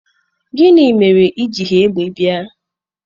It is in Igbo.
Gini mere i jighi egbe bia?